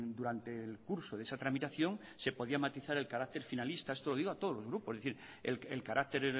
durante el curso de esa tramitación se podía matizar el carácter finalista esto lo digo a todos los grupos es decir el carácter